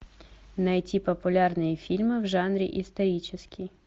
найти популярные фильмы в жанре исторический